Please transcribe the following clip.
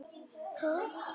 Heyrt árið hringt út.